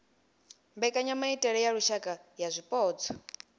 mbekanyamaitele ya lushaka ya zwipotso